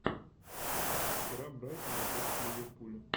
игра брайтона против ливерпуля